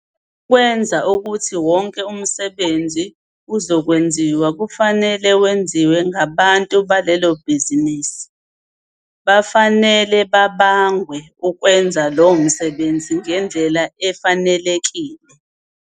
Ukwenza ukuthi wonke umsebenzi ozokwenziwa, kufanele wenziwe ngabantu balelo bhizinisi, bafanele babangwe ukwenza lowo msebenzi ngendlela efanelekile.